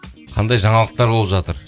қандай жаңалықтар болып жатыр